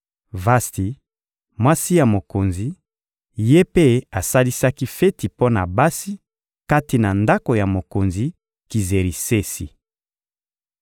Vasti, mwasi ya mokonzi, ye mpe asalisaki feti mpo na basi, kati na ndako ya mokonzi Kizerisesi.